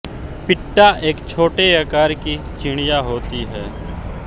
पिट्टा एक छोटे आकार की चिड़िया होती है